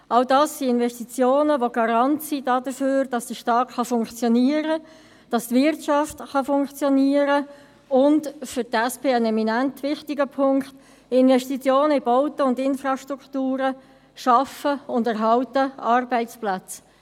All das sind Investitionen, welche Garant sind dafür, dass der Staat funktionieren kann, dass die Wirtschaft funktionieren kann, und – für die SP ein immanent wichtiger Punkt: Investitionen in Bauten und Infrastruktur schaffen und erhalten Arbeitsplätze.